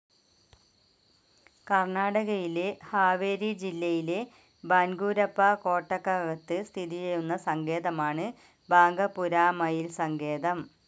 കർണ്ണാടകയിലെ ഹാവേരി ജില്ലയിലെ ബാൻഗൂരപ്പ കോട്ടക്കകത്ത് സ്ഥിതിചെയ്യുന്ന സങ്കേതമാണ് ബാംഗപുരാ മയിൽ സങ്കേതം.